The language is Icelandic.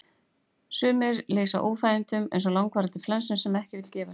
sumir lýsa óþægindunum eins og langvarandi flensu sem ekki vill gefa sig